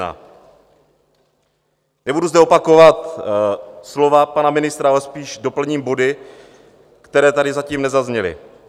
Nebudu zde opakovat slova pana ministra, ale spíš doplním body, které tady zatím nezazněly.